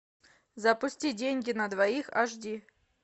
запусти деньги на двоих аш ди